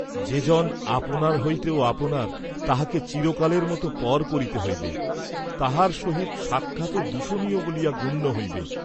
যে জন আপনার হইতেও আপনার তাহাকে চিরকালের মত পর করিতে হইবে, তাঁহার সহিত সাক্ষাৎও দূষণীয় বলিয়া গণ্য হইবে!